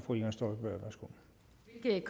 det